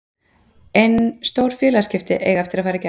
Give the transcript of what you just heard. En stór félagsskipti eiga eftir að fara í gegn.